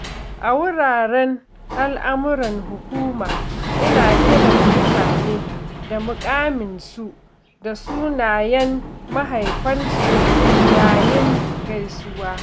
A wuraren al’amuran hukuma, ina kiran mutane da muƙaminsu da sunayen mahaifansu yayin gaisuwa.